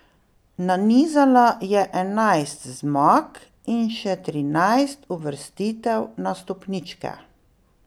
Nanizala je enajst zmag in še trinajst uvrstitev na stopničke.